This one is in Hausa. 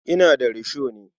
Ina da risho ne.